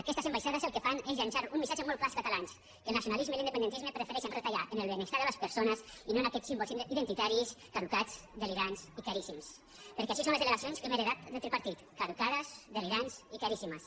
aquestes ambaixades el que fan és llançar un missatge molt clar als catalans que el nacionalisme i l’independentisme prefereixen retallar en el benestar de les persones i no en aquests símbols identitaris caducats delirants i caríssims perquè així són les delegacions que hem heretat del tripartit caducades delirants i caríssimes